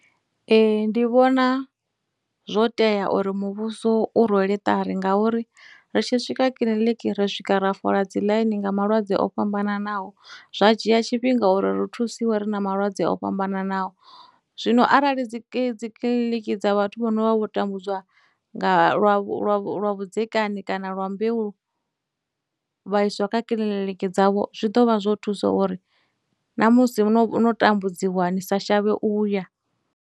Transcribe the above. Ee, ndi vhona zwo tea uri muvhuso u rwele ṱari ngauri ri tshi swika kiḽiniki ri swika ra fola dziḽaini nga malwadze o fhambananaho, zwa dzhia tshifhinga uri ri thusiwe ri na malwadze o fhambananaho. Zwino arali dziki dzikiḽiniki dza vhathu vho no vha vho tambudzwa nga, lwa vhu lwa vhu lwa vhudzekani kana lwa mbeu vha iswa kha kiḽiniki dzavho zwi ḓovha zwo thusa uri na musi no no tambudziwa ni sa shavhe u ya.